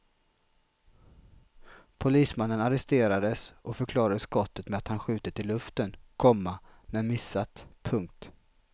Polismannen arresterades och förklarade skottet med att han skjutit i luften, komma men missat. punkt